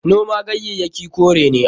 Noman ganyayyaki kore ne.